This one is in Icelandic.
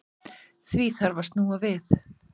Því þarf að snúa við.